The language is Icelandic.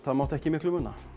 það mátti ekki miklu muna